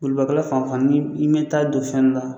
Bolibakɛlan fan o fan ni i mɛ taa don fɛn dɔ la